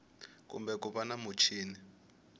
kumbe ku va na muchini